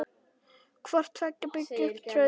Hvort tveggja byggi upp traust.